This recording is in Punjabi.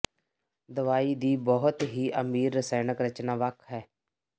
ਦਵਾਈ ਦੀ ਬਹੁਤ ਹੀ ਅਮੀਰ ਰਸਾਇਣਕ ਰਚਨਾ ਵੱਖ ਹੈ